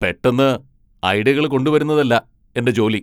പെട്ടെന്ന് ഐഡിയകള് കൊണ്ടുവരുന്നതല്ല എന്റെ ജോലി.